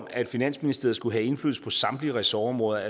at finansministeriet skulle have indflydelse på samtlige ressortområder er